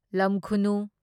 ꯂꯝꯈꯨꯅꯨ